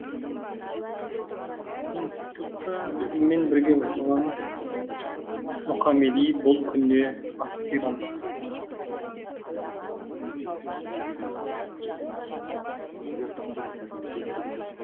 институтта өзіммен бірге оқыған мұқамеди бұл күнде аспирант